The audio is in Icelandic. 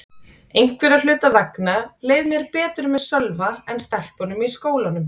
Einhverra hluta vegna leið mér betur með Sölva en stelpunum í skólanum.